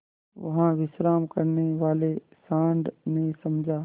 वहाँ विश्राम करने वाले सॉँड़ ने समझा